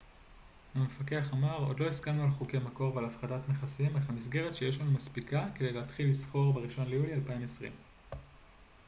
המפקח אמר עוד לא הסכמנו על חוקי מקור ועל הפחתת מכסים אך המסגרת שיש לנו מספיקה כדי להתחיל לסחור בראשון ליולי 2020